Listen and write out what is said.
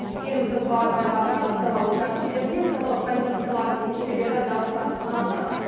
еліміздің барлық аймағындағы сайлау учаскелерінде сайлау комиссияларының мүшелері дауыстарды санап жатыр